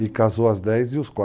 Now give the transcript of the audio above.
E casou as 10 e os 4.